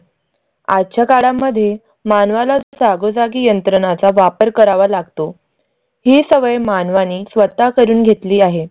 आजच्या काळा मध्ये मानवाला जागोजागी यंत्रणाचा वापर करावा लागतो. ही सवय मानवाने स्वत करून घेतली आहे.